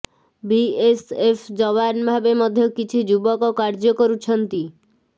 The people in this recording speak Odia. ବିଏସ୍ଏଫ୍ ଯବାନ ଭାବେ ମଧ୍ୟ କିଛି ଯୁବକ କାର୍ଯ୍ୟ କରୁଛନ୍ତି